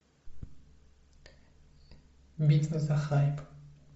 битва за хайп